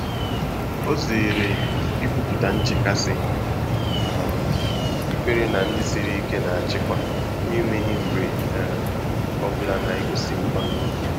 Ọ́ zèrè ìkwùpụ́tà nchékàsị́, um íkwèré nà ndị́ sìrì íké nà-àchị́kwá n’énwéghị́ mgbè um ọ bụ́lá nà-égósí mgbà.